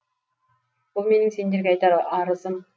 бұл менің сендерге айтар арызым